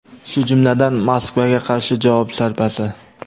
shu jumladan Moskvaga qarshi javob zarbasi.